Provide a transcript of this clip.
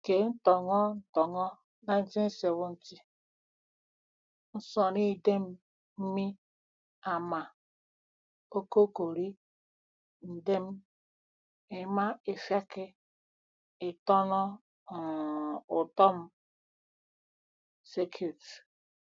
Ke ntọn̄ọ ntọn̄ọ 1970, nsọn̄idem mi ama ọkọkọri ndien ima ifiak itọn̄ọ um utom circuit.